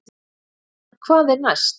En hvað er næst?